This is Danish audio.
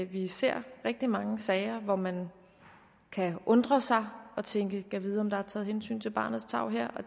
vi ser rigtig mange sager hvor man kan undre sig og tænke gad vide om der er taget hensyn til barnets tarv her